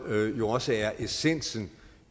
også er essensen